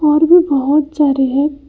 और भी बहोत सारे है।